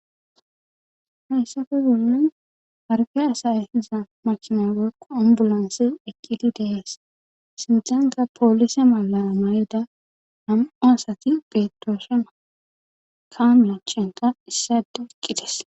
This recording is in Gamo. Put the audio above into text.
hayssafe bollan harfe asayehisa makima woqo ambulonsi ekidi dees sinthankka poolise malara may7oda am7u asati phedooshe ma kaa machenta issade eqqites